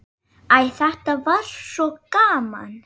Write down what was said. Æ, þetta var svo gaman.